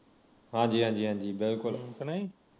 ਹਾਂਜੀ ਹਾਂਜੀ ਹਾਂਜੀ ਬਿਲਕੁਲ